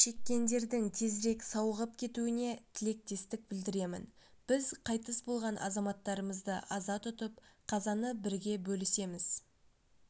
шеккендердің тезірек сауығып кетуіне тілектестік білдіремін біз қайтыс болған азаматтарымызды аза тұтып қазаны бірге бөлісеміз